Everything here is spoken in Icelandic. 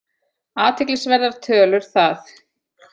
Athyglisverðar tölur það!